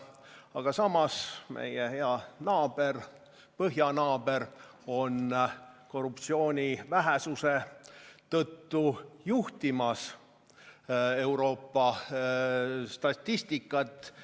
Aga samas, meie hea põhjanaaber on korruptsiooni vähesuse tõttu juhtimas Euroopa statistikat.